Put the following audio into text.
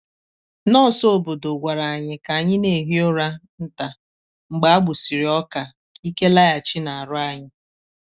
nọọsụ obodo gwara anyị ka anyị na-ehi ụra nta mgbe a gbusịrị ọka ka ike laghachi na aru anyi.